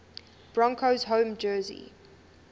broncos home jersey